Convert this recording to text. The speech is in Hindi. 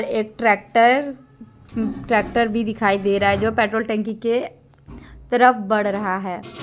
एक ट्रैकर ट्रैक्टर भी दिखाई दे रहा है जो पेट्रोल टंकी के तरफ बढ़ रहा है।